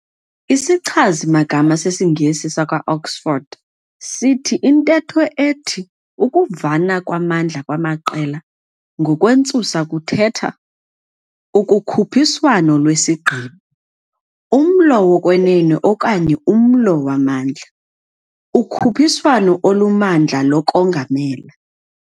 I"sichazi magama sesiNgesi sakwa Oxford" sithi intetho ethi "ukuvana kwamandla kwamaqela" ngokwentsusa kuthetha "ukukhuphiswano lwesigqibo, umlo wokwenene okanye umlo wamandla, ukhuphiswano olumandla lokongamela".